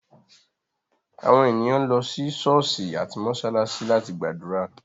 Àwọn ènìyàn lọ sí ṣọ̀ọ́sì àti mósálásí láti gbàdúrà.